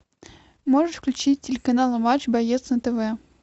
можешь включить телеканал матч боец нтв